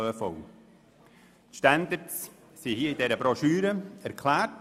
Die Standards sind in dieser Broschüre erklärt.